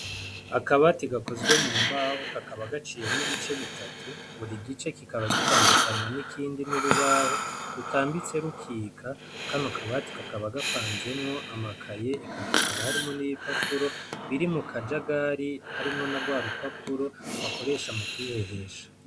Akabati gakozwe mu mbaho kakaba gaciyemwo ibice bitatu buri gice kikaba gitandukanywa n'ikindi n'urubaho rutambitse rukika, kano kabati kakaba gapanzemwo amakaye eka hakaba harimwo n'ibipapuro biri mu kajagari harimwo na rwa rupapuro bakoresha mu kwihehesha.